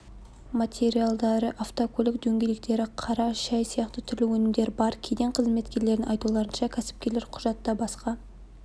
материалдары автокөлік дөңгелектері қара шай сияқты түрлі өнімдер бар кеден қызметкерлерінің айтуларынша кәсіпкерлер құжатта басқа